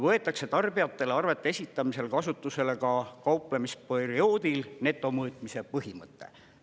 Võetakse tarbijatele arvete esitamisel kasutusele ka kauplemisperioodil netomõõtmise põhimõte.